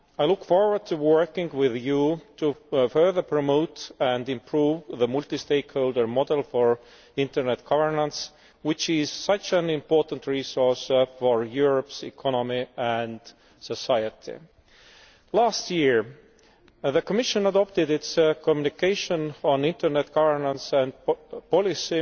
I look forward to working with you to further promote and improve the multi stakeholder model for internet governance, which is such an important resource for Europe's economy and society. Last year the Commission adopted its communication on internet governance and policy.